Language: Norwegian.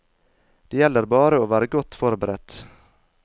Det gjelder bare å være godt forberedt.